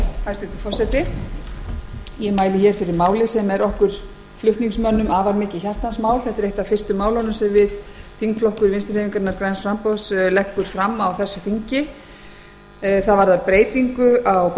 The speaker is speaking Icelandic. forseti ég mæli hér fyrir máli sem er okkur flutningsmönnum mikið hjartans mál og eitt það fyrsta sem þingflokkur vinstri hreyfingarinnar græns framboðs leggur fram á þessu þingi málið varðar breytingar á